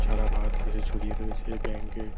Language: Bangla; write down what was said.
সারা ভারতবর্ষে ছড়িয়ে রয়েছে এই ব্যাঙ্ক -এ--